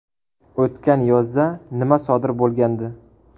O‘tgan yozda nima sodir bo‘lgandi?